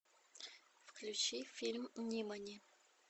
включи фильм нимани